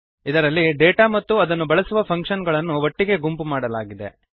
ಇದರಲ್ಲಿ ಡೇಟಾ ಮತ್ತು ಅದನ್ನು ಬಳಸುವ ಫಂಕ್ಶನ್ ಗಳನ್ನು ಒಟ್ಟಿಗೇ ಗುಂಪು ಮಾಡಲಾಗಿದೆ